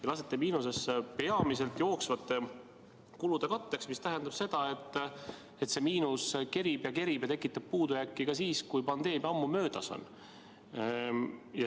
Te lasete majanduse miinusesse peamiselt jooksvate kulude katteks, mis tähendab seda, et see miinus kerib ja kerib ja tekitab puudujääki ka siis, kui pandeemia on ammu möödas.